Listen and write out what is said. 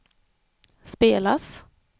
spelas